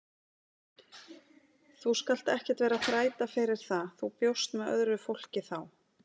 Þú skalt ekkert vera að þræta fyrir það, þú bjóst með öðru fólki þá!